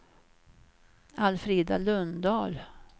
Alfrida Lundahl